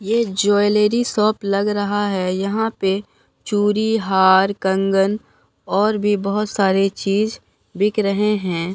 ये jewellery shop लग रहा है यहां पे चूरी हार कंगन और भी बहुत सारे चीज बिक रहे हैं।